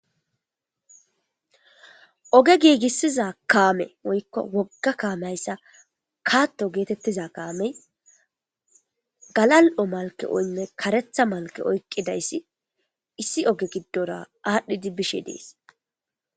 Oge giigissiza kaame oykko wogga kaamehayssa kaatto geetettiza kaamey galal'o malke oynne karetha malke oykqidayssi issi oge giddora aadhdhidi bishe dees.